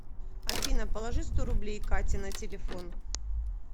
афина положи сто рублей кате на телефон